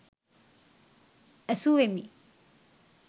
ඇසුවෙමි.